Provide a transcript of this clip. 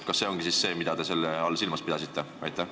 Kas see ongi siis see, mida te selle all silmas pidasite?